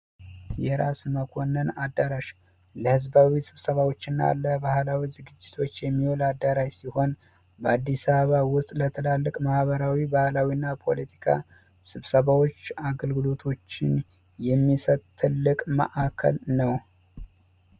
የራስ መኮንን አዳራሽ ለህዝባዊ ስብሰባዎች እና ለባህላዊ ዝግጅቶች የሚሆን አዳራሽ ሲሆን፤ በአዲስ አበባ ውስጥ ለትላልቅ ማህበራዊ፣ ባህላዊና ፖለቲካ ስብሰባዎች አገልግሎቶችን የሚሰጥ ትልቅ ማዕከል ነው።